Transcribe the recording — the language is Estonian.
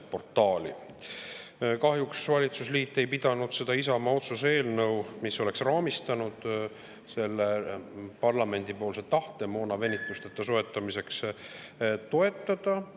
Kahjuks valitsusliit ei pidanud toetada seda Isamaa otsuse eelnõu, mis oleks raamistanud parlamendi tahte moon venitusteta soetada.